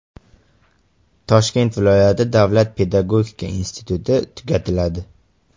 Toshkent viloyati davlat pedagogika instituti tugatiladi.